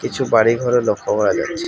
কিছু বাড়িঘরও লক্ষ্য করা যাচ্ছে।